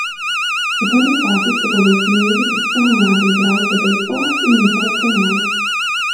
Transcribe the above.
V prvi fazi se bodo usmerili predvsem v mlade igralce bejzbola in njihove trenerje.